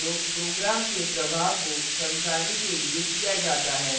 comments का उपयोग program के प्रवाह को समझने के लिए किया जाता है